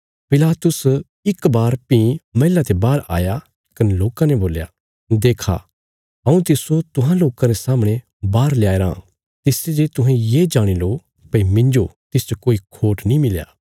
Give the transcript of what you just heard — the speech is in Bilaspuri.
पिलातुस इक बार भीं मैहला ते बाहर आया कने लोकां ने बोल्या देक्खा हऊँ तिस्सो तुहां लोकां रे सामणे बाहर ल्याया रां तिसते जे तुहें ये जाणी लो भई मिन्जो तिसच कोई खोट नीं मिल्या